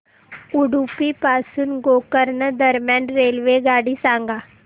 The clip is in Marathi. उडुपी पासून गोकर्ण दरम्यान रेल्वेगाडी सांगा